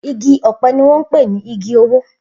Igi ọ̀pẹ ni wọ́n ń pè ní igi owó